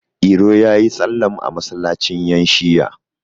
iro ya yi sallam a masallacin yanShi'a